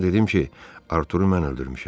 Ona dedim ki, Arturu mən öldürmüşəm.